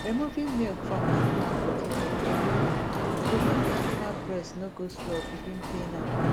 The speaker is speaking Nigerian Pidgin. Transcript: removing milk from animal body body everyday go make the animal breast no go swell begin pain am